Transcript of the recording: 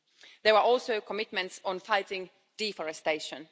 There were also commitments on fighting deforestation.